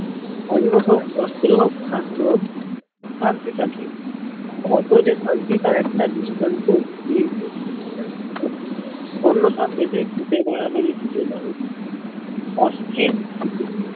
অন্য হল বস্ত্র হোক সাস্থ হোক শান্তি থাকে কত যে শান্তি তার একটা দৃষ্টান্ত এই যে অন্য সব দেয় ভুতের বাড়াবাড়ি হলে মানুষ